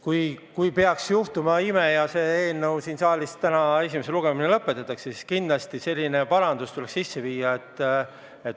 Kui peaks juhtuma ime ja selle eelnõu esimene lugemine siin saalis täna lõpetatakse, siis kindlasti tuleks üks parandus sisse viia.